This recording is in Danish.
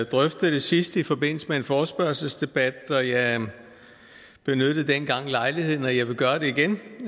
drøftede det sidst i forbindelse med en forespørgselsdebat jeg jeg benyttede dengang lejligheden til og jeg vil gøre det igen